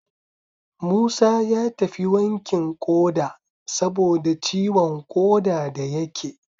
Musa ya tafi wankin ƙoda saboda ciwon ƙoda da yake